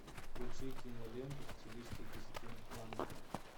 включи кинолента в стилистике стим панкта